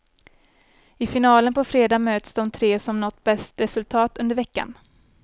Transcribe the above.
I finalen på fredag möts de tre som nått bäst resultat under veckan.